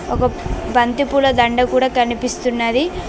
ఒక బంతిపూల దండ కూడా కనిపిస్తున్నది.